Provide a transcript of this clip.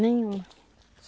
Nenhuma.